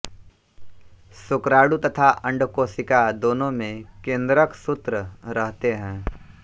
शुक्राणु तथा अंडकोशिका दोनों में केंद्रकसूत्र रहते हैं